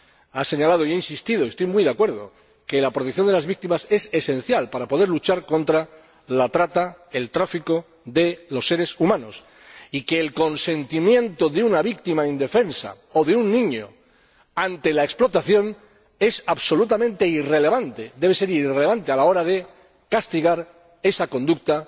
Han señalado e insistido y estoy muy de acuerdo en que la protección de las víctimas es esencial para poder luchar contra la trata y el tráfico de los seres humanos, y que el consentimiento de una víctima indefensa o de un niño ante la explotación es absolutamente irrelevante, debe ser irrelevante a la hora de castigar esa conducta